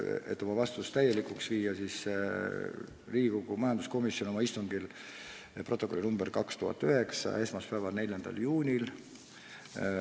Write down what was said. Et oma vastus täielikuks muuta, loen ette teksti Riigikogu majanduskomisjoni istungi protokollist nr 209, mis on koostatud esmaspäeval, 4. juunil.